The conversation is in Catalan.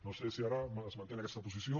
no sé si ara es manté en aquesta posició